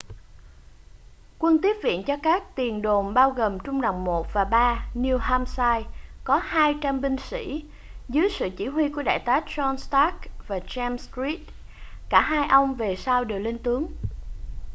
quân tiếp viện cho các tiền đồn bao gồm trung đoàn 1 và 3 new hampshire có 200 binh sĩ dưới sự chỉ huy của đại tá john stark và james reed cả hai ông về sau đều lên tướng